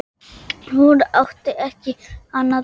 Hún átti ekki annað til.